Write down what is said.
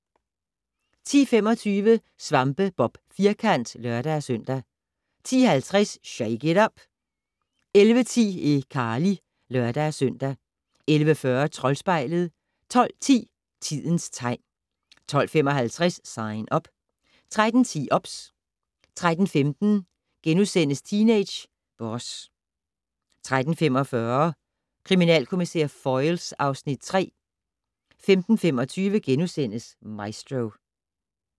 10:25: SvampeBob Firkant (lør-søn) 10:50: Shake it up! 11:10: iCarly (lør-søn) 11:40: Troldspejlet 12:10: Tidens tegn 12:55: Sign Up 13:10: OBS 13:15: Teenage Boss * 13:45: Kriminalkommissær Foyle (Afs. 3) 15:25: Maestro *